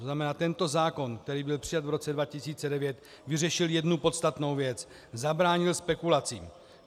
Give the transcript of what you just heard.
To znamená, tento zákon, který byl přijat v roce 2009, vyřešil jednu podstatnou věc - zabránil spekulacím.